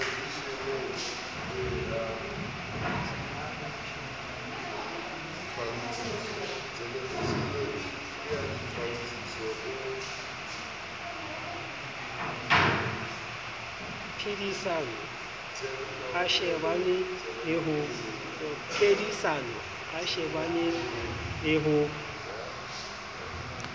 phedisano a shebane le ho